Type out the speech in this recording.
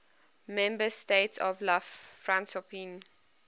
member states of la francophonie